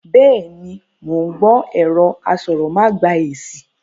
Bẹ́ẹ̀ni, mo ń gbọ́ ẹ̀rọ asọ̀rọ̀ má gba èsìn